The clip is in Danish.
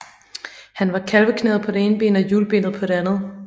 Han var kalveknæet på det ene ben og hjulbenet på det andet